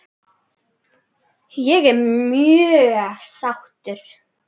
Ég er mjög sáttur